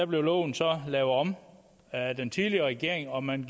blev loven så lavet om af den tidligere regering og man